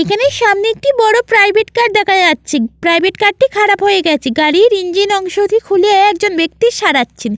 এখানে সামনে একটি বড় প্রাইভেট কার দেখা যাচ্ছে। প্রাইভেট কার -টি খারাপ হয়ে গেছে গাড়ির ইঞ্জিন অংশ টি খুলে একজন ব্যক্তি সারাচ্ছেন।